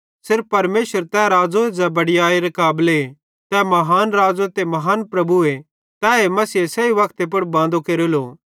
सिर्फ परमेशर तै राज़ोए ज़ै बड़यैयरे काबले तै महान राज़ो ते महान प्रभुए तैए मसीहे सही वक्ते पुड़ बांदो केरेलो